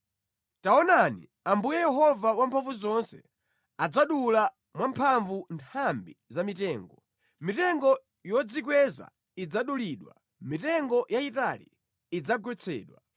Taonani, Ambuye Yehova Wamphamvuzonse, adzadula mwamphamvu nthambi za mitengo, mitengo yodzikweza idzadulidwa, mitengo yayitali idzagwetsedwa.